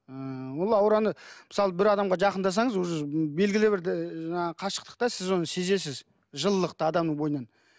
ыыы ол аураны мысалы бір адамға жақындасаңыз уже белгілі бір жаңағы қашықтықта сіз оны сезесіз жылылықты адамның бойынан